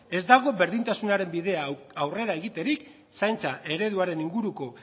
ez dago berdintasunaren bidean aurrera egiterik zaintza ereduaren inguruko